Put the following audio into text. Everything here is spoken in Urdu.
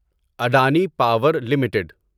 Adani power limited